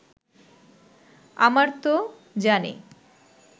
আমারতো জানে